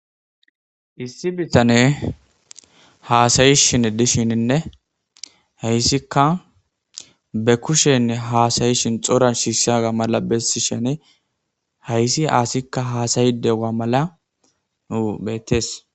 Issi bitaney haasayishin dishininne heyssika be kushe haasayishin cora shishaga mala bessisheni haysse asikka haasayidi diyo mala wo beettees